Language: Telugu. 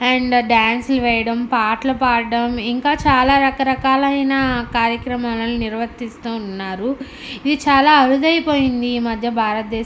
అండ్ డాన్సులు వెయ్యడం పాటలు పడటం ఇంకా చాలా రకరకాలైన కార్యక్రమాలను నిర్వత్రిస్తు ఉన్నారు ఇవి చాలా అరుదైపోయిది ఈ మధ్య భారత దేశం.